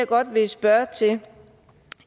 godt vil spørge til